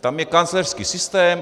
Tam je kancléřský systém.